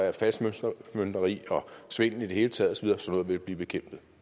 at falskmøntneri og svindel i det hele taget vil blive bekæmpet